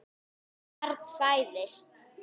Barn fæðist.